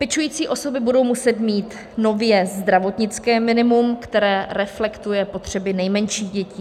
Pečující osoby budou muset mít nově zdravotnické minimum, které reflektuje potřeby nejmenších dětí.